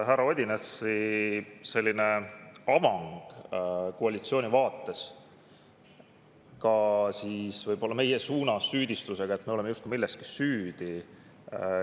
Härra Odinetsi avang koalitsiooni vaates süüdistust meie suunas, et me oleme justkui milleski süüdi.